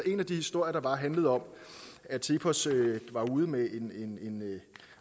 en af de historier der bare handlede om at cepos var ude med en